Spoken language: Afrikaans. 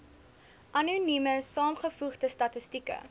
anonieme saamgevoegde statistieke